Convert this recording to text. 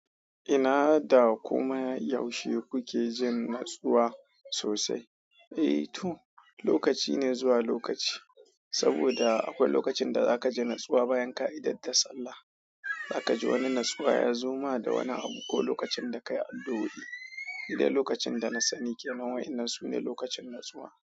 Ina da komai yaushe kuke jin natsuwa sosai? Eh to, lokaci ne zuwa lokaci. Saboda akwai lokacin da za ka ji natsuwa bayan ka idada sallah. Za ka ji wani natsuwa ya zo ma da wani abu ko lokacin da ka yi addu o i da lokacin da na sani ke nan wa'inan sune lokacin natsuwa.